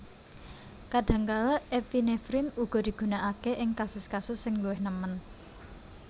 Kadhangkala epinefrin uga digunakake ing kasus kasus sing luwih nemen